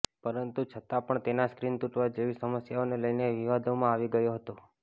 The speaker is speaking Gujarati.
પરંતુ છતાંપણ તેના સ્ક્રીન તૂટવા જેવી સમસ્યાઓને લઈને વિવાદોમાં આવી ગયો હતો